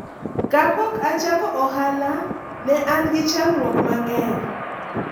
kapok achako ohala ne an gi chandruok mang'eny